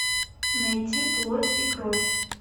найти плоть и кровь